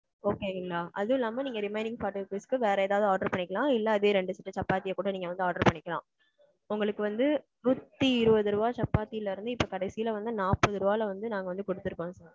okay ங்களா அது இல்லாம நீங்க remaining பணத்துக்கு வேற ஏதாவது order பண்ணிக்கலாம். இல்ல அதே ரெண்டு set சாப்பாத்திய கூட நீங்க வந்து order பண்ணிக்கலாம். உங்களுக்கு வந்து நூத்தி இருவது ரூபா சப்பாத்தில இருந்து, இப்ப கடைசீல வந்து நாற்பது ரூபாய்ல வந்து நாங்க வந்து குடுத்திருக்கோம் sir.